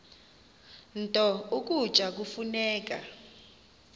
nto ukutya kufuneka